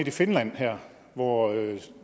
i finland hvor